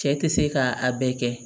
Cɛ tɛ se k'a bɛɛ kɛ